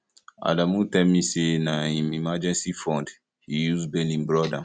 adamu tell me say na im emergency fund he use bail im brother